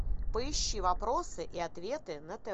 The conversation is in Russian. поищи вопросы и ответы на тв